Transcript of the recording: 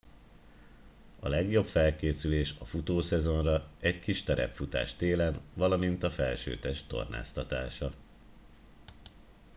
a legjobb felkészülés a futószezonra egy kis terepfutás télen valamint a felsőtest tornáztatása